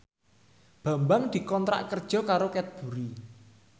Bambang dikontrak kerja karo Cadbury